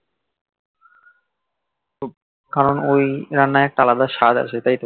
কারণ ওই রান্নার একটা আলাদা স্বাদ আছে তাই তো